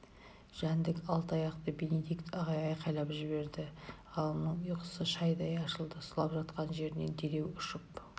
жәндік алты аяқты бенедикт ағай айқайлап жіберді ғалымның ұйқысы шайдай ашылды сұлап жатқан жерінен дереу ұшып